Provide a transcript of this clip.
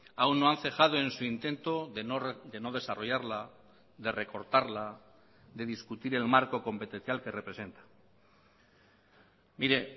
aún no han cejado en su intento de no desarrollarla de recortarla de discutir el marco competencial que representa mire